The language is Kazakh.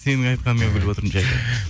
сенің айтқаныңа күліп отырмын жаке